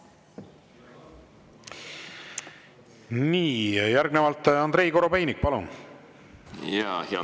Nii, järgnevalt, Andrei Korobeinik, palun!